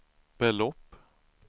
belopp